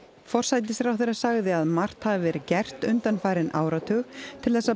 forsætisráðherra sagði að margt hafi verið gert undanfarinn áratug til þess að